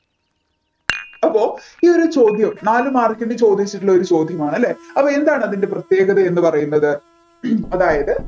അപ്പോ ഈ ഒരു ചോദ്യം നാല് mark ന് ചോദിച്ചിട്ടുള്ള ഒരു ചോദ്യമാണ് അല്ലേ അപ്പോ എന്താണ് അതിൻ്റെ പ്രത്യേകത എന്ന് പറയുന്നത് അതായത്